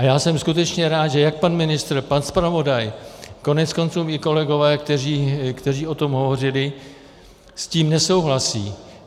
A já jsem skutečně rád, že jak pan ministr, pan zpravodaj, koneckonců i kolegové, kteří o tom hovořili, s tím nesouhlasí.